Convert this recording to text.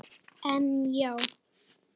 En já.